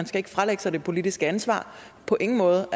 skal fralægge sig det politiske ansvar på ingen måde